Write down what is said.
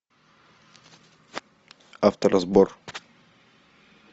авторазбор